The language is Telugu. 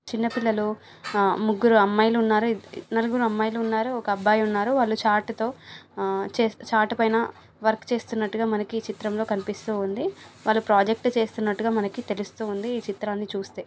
చిన్నపిల్లలు ఆ-ముగ్గురు అమ్మాయిలున్నారు. ఇద్ నలుగురు అమ్మాయిలున్నారు. ఒక అబ్బాయిన్నారు వాళ్ళు చార్టుతో ఉ-చెస్-చార్టు పైన వర్క్ చేస్తున్నట్టుగా మనకి ఈ చిత్రం లో కనిపిస్తూ ఉంది. వాళ్ళు ప్రాజెక్టు చేస్తున్నట్టుగా మనకి తెలుస్తూ ఉంది .ఈ చిత్రాన్ని చూస్తే--